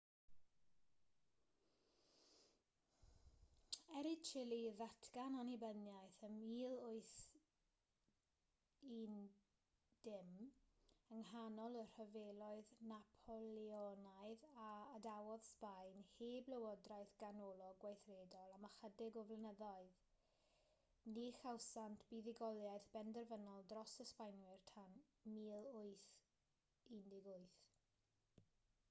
er i chile ddatgan annibyniaeth ym 1810 yng nghanol y rhyfeloedd napoleonaidd a adawodd sbaen heb lywodraeth ganolog weithredol am ychydig o flynyddoedd ni chawsant buddugoliaeth benderfynol dros y sbaenwyr tan 1818